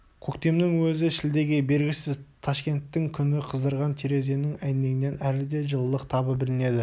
көктемнің өзі шілдеге бергісіз ташкенттің күні қыздырған терезенің әйнегінен әлі де жылылық табы білінеді